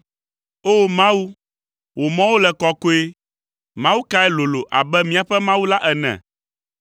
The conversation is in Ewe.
O! Mawu, wò mɔwo le kɔkɔe mawu kae lolo abe míaƒe Mawu la ene?